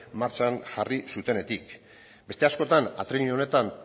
martxan jarri zutenetik beste askotan atrile honetan